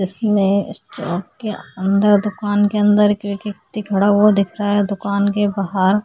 इसमें अ अंदर दुकान के अंदर एक व्यक्ती खड़ा हुआ दिख रहा है दुकान के बहार --